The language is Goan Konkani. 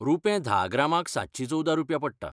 रुपें धा ग्रामांक सातशी चोवदा रुपया पडटा.